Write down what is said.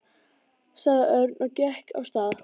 sagði Örn og gekk af stað.